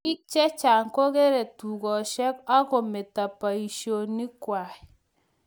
biik chechang kogeere dukeshek ak kometo boisiengwai